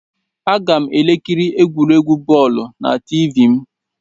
Aga m ekiri egwuregwu bọọlu na Tiivii m